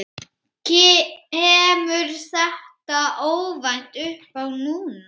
Kemur þetta óvænt uppá núna?